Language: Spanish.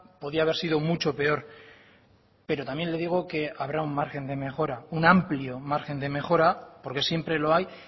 podía haber sido mucho peor pero también le digo que habrá un margen de mejora un amplio margen de mejora porque siempre lo hay